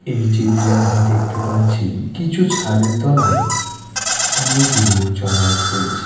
এই চিত্রে আমি দেখতে পাচ্ছি কিছু ছাদের তলায় অনেক লোক জমায়েত করেছে।